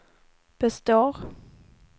består